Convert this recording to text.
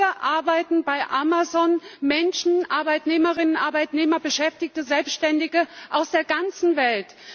Heute arbeiten bei Amazon Menschen Arbeitnehmerinnen und Arbeitnehmer, Beschäftigte, Selbständige aus der ganzen Welt.